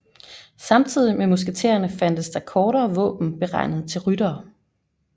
Samtidig med musketterne fandtes der kortere våben beregnet til ryttere